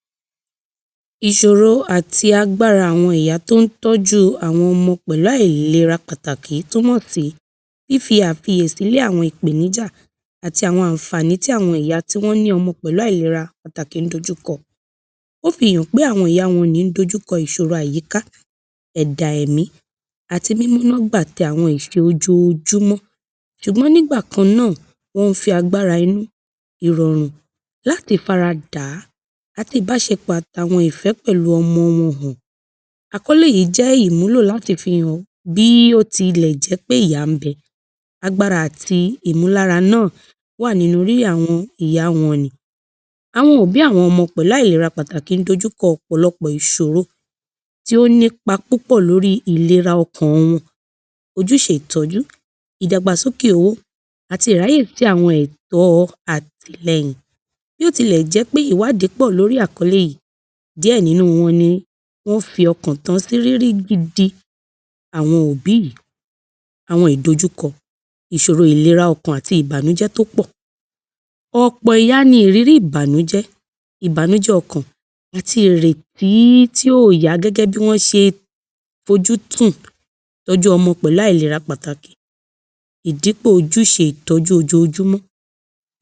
00253 Ìsòro àti àwo̩n agbára àwo̩n ìyá tó ń tó̩jú àwo̩n o̩mo̩ pè̩lú àìlera pàtàkì túmò̩ sí fífí àkiyèsí lé àwo̩n ìpèníjà àti àwo̩n àǹfààní tí àwo̩n ìyá tí ó ní o̩mo̩ pè̩lú àìlera pàtàkì ń dojúko̩. Ó fi hàn pé àwo̩n ìyá wo̩n nì ń dojúko̩ àwo̩n ìs̩òro àyíká, è̩dà è̩mí àti ń gbà s̩e àwo̩n ìs̩e ojoojúmó̩ s̩ùgbó̩n nígbà kan náà wó̩n fi agbára inú, ìrò̩rùn láti fara dà á àti ìbás̩epò̩ àti ìfé̩ pè̩lú o̩mo̩ wo̩n hàn. Àkó̩lé yìí jé̩ ìmúlò láti fi hàn bí ó tilè̩ jé̩ pé ìyá ń be̩, agbára àti ìmúlára náà wà lórí àwo̩n ìyá wo̩n nì. Àwo̩n òbí àwo̩n o̩mo̩ pè̩lú àìlera pàtàkì ń dojúko̩ ò̩pò̩lo̩pò̩ ìs̩òro tí ó nípa púpò̩ lórí ìlera o̩kàn wo̩n, ojús̩e ìtó̩jú, ìdàgbàsókè èwe, àti ìráyè sí àwo̩n è̩to̩ àtìle̩yìn. Bí ó tilè̩ jé̩ pé ìwádìí pò̩ lórí àkó̩lé yìí, díè̩ nínú wọn ní ó fi o̩kàn tán sí rírí gidi àwo̩n òbí yìí, àwo̩n ìdojúko̩, ìs̩òro ìlera o̩kàn àti ìbànújé̩ tó pò̩. Ò̩pò̩ ìyá ni ìrírí ìbànújẹ́, ìbànújé̩ o̩kàn àti ìrètí tí ò yá gé̩gé̩ bí wọ̩́n s̩e fojúsùn tó̩jú o̩mo̩ pè̩lú àìlera pàtàkì, ìdípò̩ ojúṣe ìtó̩jú ojoojúmó̩.